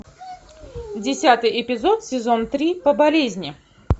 десятый эпизод сезон три по болезни